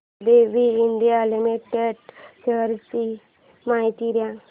ABB India limited shares ची माहिती दे